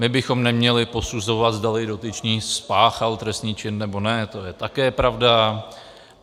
My bychom neměli posuzovat, zdali dotyčný spáchal trestný čin, nebo ne, to je také pravda.